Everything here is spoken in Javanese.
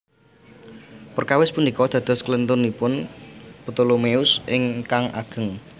Prakawis punika dados klèntunipun Ptolemeus ingkang ageng